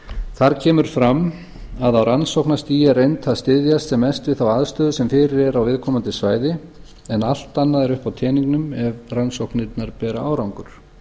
þar kemur fram að á rannsóknarstigi er reynt að styðjast sem mest við þá aðstöðu sem fyrir er á viðkomandi svæði en allt annað er uppi á teningnum ef rannsóknirnar bera árangur